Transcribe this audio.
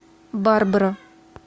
барбара